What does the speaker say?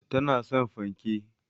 Tana son fanke